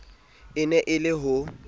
e ne e le ho